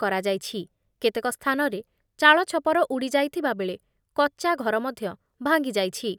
କରାଯାଇଛି। କେତେକ ସ୍ଥାନରେ ଚାଳଛପର ଉଡ଼ିଯାଇଥିବା ବେଳେ କଚ୍ଚା ଘର ମଧ୍ଯ ଭାଙ୍ଗିଯାଇଛି।